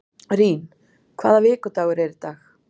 Rín, hvaða vikudagur er í dag?